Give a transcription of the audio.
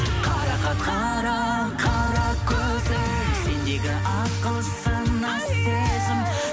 қарақат қара қара көзің сендегі ақыл сана сезім